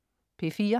P4: